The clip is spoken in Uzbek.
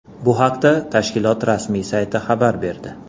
Bu haqda tashkilot rasmiy sayti xabar berdi.